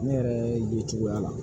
Ne yɛrɛ ye cogoya la